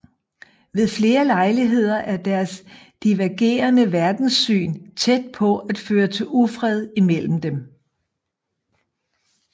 Ved flere lejligheder er deres divergerende verdenssyn tæt på at føre til ufred imellem dem